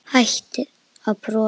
Hættir að brosa.